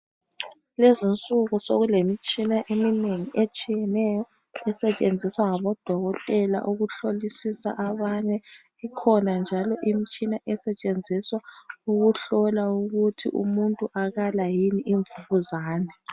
Lezinsuku sekulemitshina eminengi etshiyeneyo esetshenziswa ngabo dokotela ukuhlolisisa abanye ikhona njalo imitshina esetshenziswa ukuhlola ukuthi umuntu akala yini imvukuzane.